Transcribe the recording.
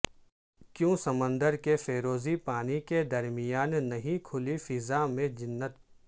کیوں سمندر کے فیروزی پانی کے درمیان نہیں کھلی فضا میں جنت